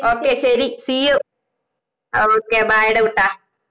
ok ശരി see you ok bye ഡാ കുട്ടാ